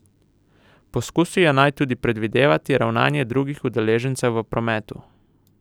Poskusijo naj tudi predvideti ravnanje drugih udeležencev v prometu.